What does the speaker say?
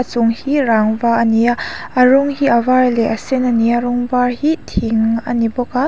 chung hi rangva a ni a a rawng hi a var leh a sen a ni a rawng var hi thing a ni bawk a.